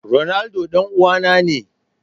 Ronaldo dan uwana ne.